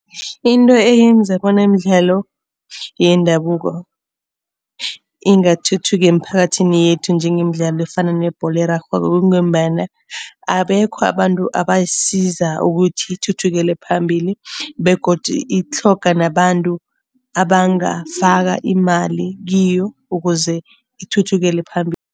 Into eyenza bona imidlalo yendabuko ingathuthuki emphakathini yethu njengemidlalo efana nebholo erarhwako, kungombana abekho abantu abasiza ukuthi ithuthukele phambili. Begodu itlhoga nabantu abangafaka imali kiyo ukuze ithuthukele phambili.